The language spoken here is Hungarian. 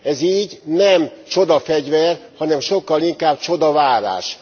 Ez így nem csodafegyver, hanem sokkal inkább csodavárás.